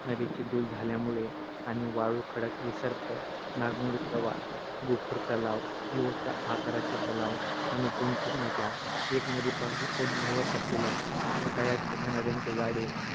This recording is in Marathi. नदीची धूप झाल्यामुळे आणि वाळू, खडक, विसर्प नागमोडी प्रवाह, गोखूर तलाव यू आकाराचे तलाव आणि गुंफित नद्या एका नदीपासून उद्भवलेल्या छोट्याया छोट्या नद्यांचे जाळे